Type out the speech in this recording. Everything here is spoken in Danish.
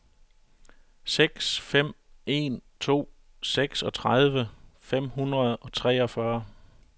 seks fem en to seksogtredive fem hundrede og treogfyrre